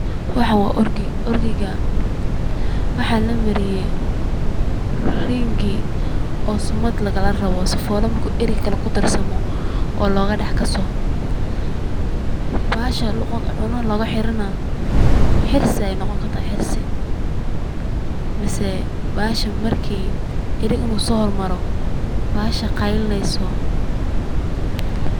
Waxan waa org8,orgiga waxaa la mariye ringi oo sumad lagala rabo sifole marki eri kale kudarsamo oo loga dhax kaso, bahasha luqunta loga xiran na xirsi ayay noqon karta mise bahasha marki erig intu soo hor maro bahasha qaylineyso